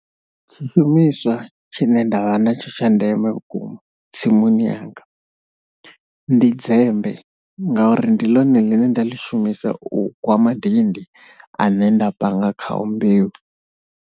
Tshishumiswa tshine nda vha natsho tsha ndeme vhukuma tsimuni yanga ndi dzemmbe ngauri ndi ḽone ḽine nda ḽi shumisa u gwa madindi ane nda panga khao mbeu.